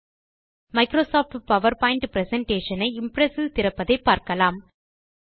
Microsoft PowerPoint presentation ஐ Impress இல் திறப்பதை பார்க்கலாம்